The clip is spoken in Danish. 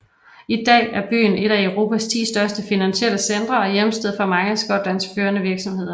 I dag er byen et af Europas ti største finansielle centre og er hjemsted for mange af Skotlands førende virksomheder